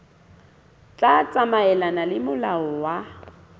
tla tsamaelana le molao wa